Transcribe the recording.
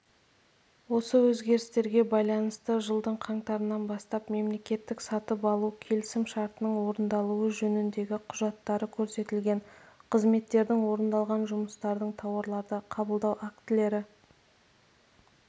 осы өзгерістерге байланысты жылдың қаңтарынан бастап мемлекеттік сатып алу келісім шартының орындалуы жөніндегі құжаттары көрсетілген қызметтердің орындалған жұмыстардың тауарларды қабылдау актілері